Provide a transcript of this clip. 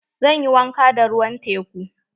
Zan yi wanka da ruwan teku.